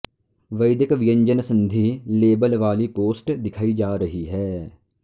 वैदिक व्यञ्जन संधिः लेबल वाली पोस्ट दिखाई जा रही हैं